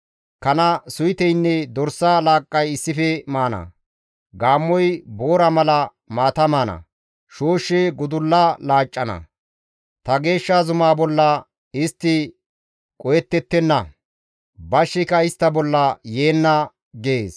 Kana suyteynne dorsa laaqqay issife maana; gaammoy boora mala maata maana; shooshshi gudulla laaccana; ta geeshsha zumaa bolla istti qohettettenna; bashshika istta bolla yeenna» gees.